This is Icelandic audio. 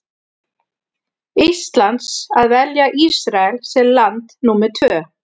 Íslands að velja Ísrael sem land númer tvö.